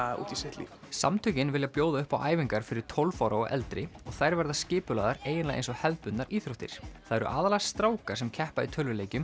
út í sitt líf samtökin vilja bjóða upp á æfingar fyrir tólf ára og eldri og þær verða skipulagðar eiginlega eins og hefðbundnar íþróttir það eru aðallega strákar sem keppa í tölvuleikjum